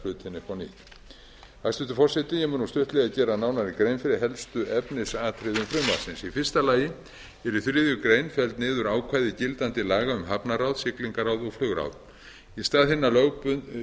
hlutina upp á nýtt hæstvirtur forseti ég mun nú stuttlega gera nánari grein fyrir helstu efnisatriðum frumvarpsins í fyrsta lagi eru í þriðju grein felld niður ákvæði gildandi laga um hafnaráð siglingaráð og flugráð í stað hinna lögbundnu